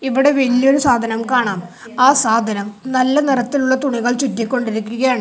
ഇവിടെ വലിയൊരു സാധനം കാണാം ആ സാധനം നല്ല നിറത്തിലുള്ള തുണികൾ ചുറ്റി കൊണ്ടിരിക്കുകയാണ്.